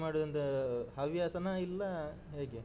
ಮಾಡುದೊಂದು ಹವ್ಯಾಸನ ಇಲ್ಲ, ಹೇಗೆ?